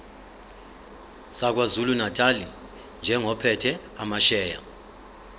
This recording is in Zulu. sakwazulunatali njengophethe amasheya